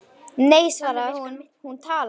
Nei svaraði hann, hún talar